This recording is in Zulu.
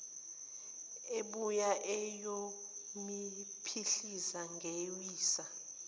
ebuya uyomphihliza ngewisa